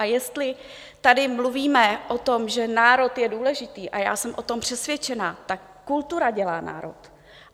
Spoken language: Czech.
A jestli tady mluvíme o tom, že národ je důležitý, a já jsem o tom přesvědčena, tak kultura dělá národ.